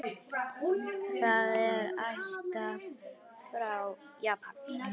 Það er ættað frá Japan.